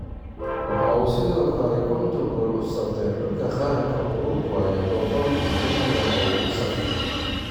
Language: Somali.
Waxa uu sidoo kale 50 gool u saftay xulka qaranka Uruguay 116 kulan oo uu saftay.